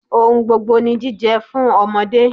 Ohun gbogbo ni jíjẹ fún ọmọdé.